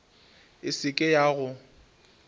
e se ke ya go